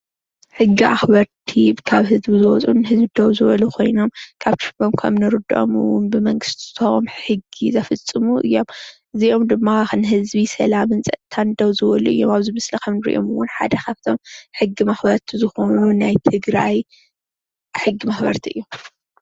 ሕጊ ኣክበርቲ ካብ ህዝቢ ዝወፁን ንህዝቢ ደዉ ዝበሉን ኮይኖም ካብ ስሞም ከምንርድኦም እዉን ብመንግስቲ ዝተዉሃቦም ሕጊ ዘፈፅሙ እዮም እዚኦም ድማ ንህዝቢ ሰላምን ፅጥታን ደዉ ዝበሉ እዮም ኣብዚ ምስሊ ከምንሪኦም ሓደ ካብቶም ሕጊ መክበርቲ ዝኮኑ ናይ ትግራይ ሕጊ መክበርቲ እዮም ።